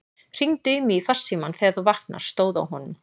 Hringdu í mig í farsímann þegar þú vaknar, stóð á honum.